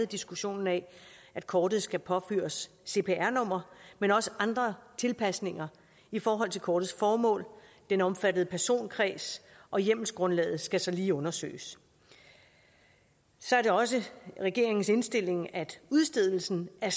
diskussionen af at kortet skal påføres cpr nummer men også andre tilpasninger i forhold til kortets formål og den omfattede personkreds og hjemmelsgrundlaget skal så lige undersøges så er det også regeringens indstilling at udstedelsen af